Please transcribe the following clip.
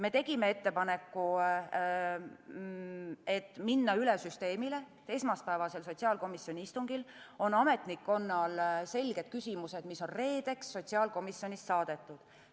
Me tegime ettepaneku minna üle süsteemile, kus esmaspäevasel sotsiaalkomisjoni istungil on ametnikkonnal selged küsimused, mis on reedeks sotsiaalkomisjonist saadetud.